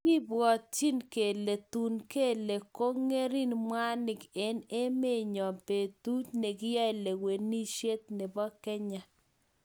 kibwotchin kele tuun kele ko ngeringen mwanik eng emet nyoo betut nikiyae lewenishet nebo kenya